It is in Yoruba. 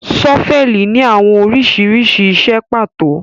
Ṣọ́fẹlì ni awọn oriṣiriṣi iṣẹ pato